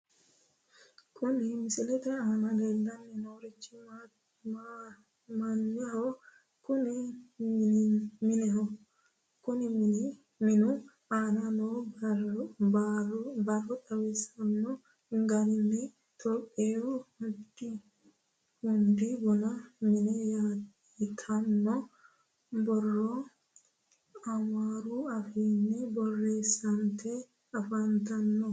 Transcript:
Kuni misilete aana leellanni noorichi mineho kunii minu aana noo borro xawissanno garinni, topiyu hundi bunu mine yitanno borro amaaru afiinni borreessnte afantanno.